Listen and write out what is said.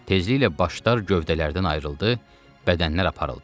Tezliklə başlar gövdələrdən ayrıldı, bədənlər aparıldı.